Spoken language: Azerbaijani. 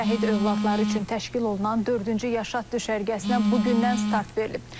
Şəhid övladları üçün təşkil olunan dördüncü yaşat düşərgəsinə bu gündən start verilib.